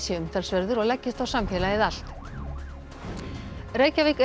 sé umtalsverður og leggist á samfélagið allt Reykjavík